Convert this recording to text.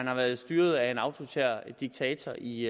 har været styret af en autoritær diktator i